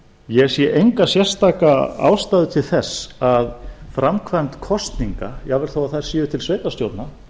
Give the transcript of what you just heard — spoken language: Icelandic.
ég sé enga sérstaka ástæðu til þess að framkvæmd kosninga jafnvel þó þær séu til sveitarstjórna